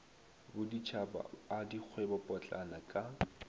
boditšhaba a dikgwebo potlana ka